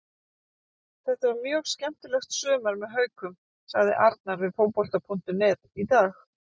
Þetta var mjög skemmtilegt sumar með Haukum, sagði Arnar við Fótbolta.net í dag.